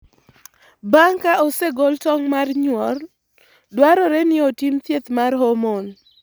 Bang' ka osegol tong mar nyuol kata mar nyuol, dwarore ni otim thieth mar hormone.